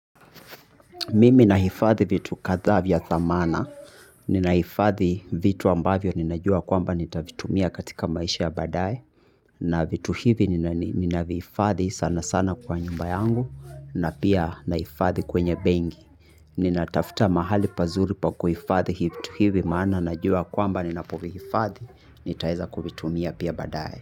Mimi nahifadhi vitu kadhaa vya thamana, ninahifadhi vitu ambavyo ninajua kwamba nitavitumia katika maisha ya badae, na vitu hivi ninavihifadhi sana sana kwa nyumba yangu, na pia nahifadhi kwenye benki, nina tafuta mahali pazuri pa kuhifadhi vitu hivi maana najua kwamba ninapovihifadhi, nitaweza kuvitumia pia badae.